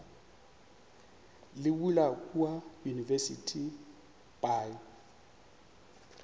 le bula kua university by